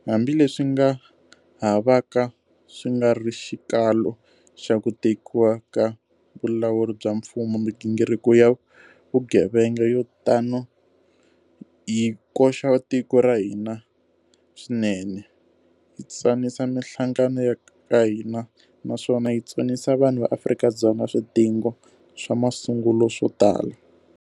Hambileswi nga ha vaka swi nga ri xikalo xa ku tekiwa ka vulawuri bya mfumo, migingiriko ya vugevenga yo tano yi koxa tiko ra hina swinene, yi tsanisa mihlangano ya ka hina naswona yi tsonisa vanhu va Afrika-Dzonga swidingo swa masungulo swo tala.